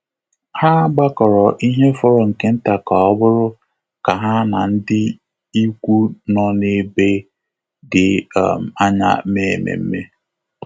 Há gbàkọ́rọ́ ihe fọrọ nke nta kà ọ́ bụ́rụ́ kà há na ndị ikwu nọ́ n’ébé dị́ um ányá mèé ememe.